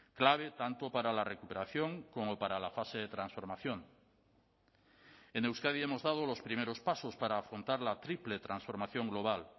clave tanto para la recuperación como para la fase de transformación en euskadi hemos dado los primeros pasos para afrontar la triple transformación global